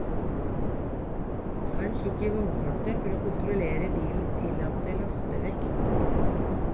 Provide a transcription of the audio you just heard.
Ta en kikk i vognkortet for å kontrollere bilens tillatte lastevekt.